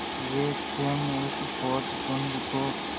वे स्वयं उस पोतपुंज को